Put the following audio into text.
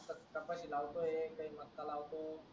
चपाती लावतो एक का मस्का लावतो